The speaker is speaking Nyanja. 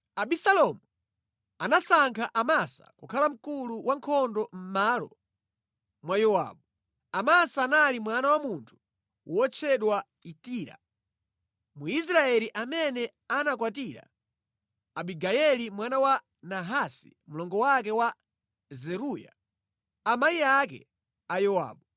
Abisalomu anasankha Amasa kukhala mkulu wa ankhondo mʼmalo mwa Yowabu. Amasa anali mwana wa munthu wotchedwa Itira Mwisraeli amene anakwatira Abigayeli mwana wa Nahasi mlongo wake wa Zeruya, amayi ake a Yowabu.